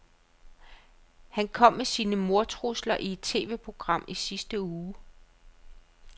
Han kom med sine mordtrusler i et TVprogram i sidste uge.